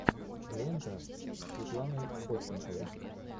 лента с светланой ходченковой